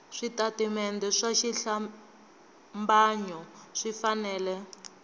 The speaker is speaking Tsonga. switatimende swa xihlambanyo swi fanele